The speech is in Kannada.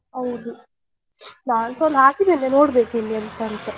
ಹೌದು ನಾನ್ಸ ಒಂದು ಹಾಕಿದ್ದೇನೆ ನೋಡ್ಬೇಕು ಇನ್ನು ಎಂತ ಅಂತ.